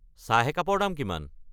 চাহ একাপৰ দাম কিমান?